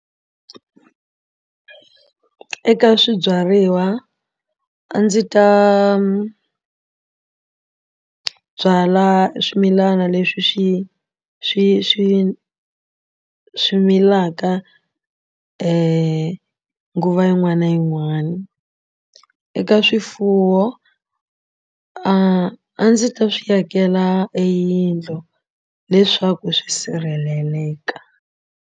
Eka swibyariwa a ndzi ta byala swimilana leswi swi swi swi swi milaka nguva yin'wana na yin'wana eka swifuwo a a ndzi ta swi akela eyindlo leswaku swi sirheleleka.